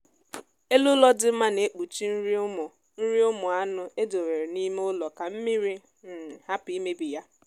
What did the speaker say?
ezi nwere mmasị ịna-egwu ala nkea nkea mere ụlọ ha kwesịrị inwe mgbidi siri ike na ntọala miri emi